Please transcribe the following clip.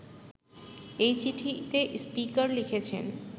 এই চিঠিতে স্পিকার লিখেছেন